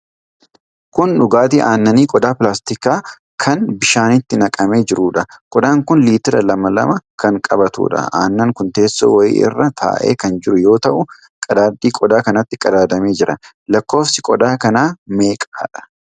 Kun dhugaatii aannanii qodaa pilaastikaa kan bishaanitti naqamee jiruudha. Qodaan kun liitira lama lama kan qabatuudha. Aannan kun teessoo wayiii irra taa'ee kan jiru yoo ta'u, qadaadi qodaa kanatti qadaadamee jira. Lakkoofsi qodaa kanaa meeqadha?